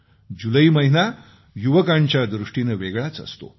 जुलै महिना युवकांच्या दृष्टीने वेगळाच असतो